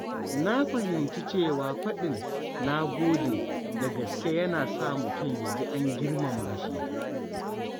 Na fahimci cewa faɗin “na gode” da gaske yana sa mutum ya ji an girmama shi.